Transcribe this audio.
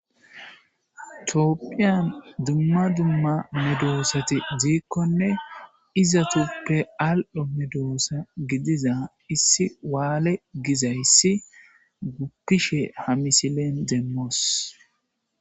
Tophiyan duma duma medosati dikone izatupe al'o medosa gidiza issi wale gizaysi gupishe ha missilen demos.